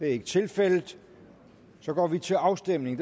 er tilfældet går vi til afstemning